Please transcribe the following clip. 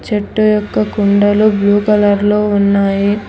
చెట్టు యొక్క కుండలు బ్లూ కలర్ లో ఉన్నాయి.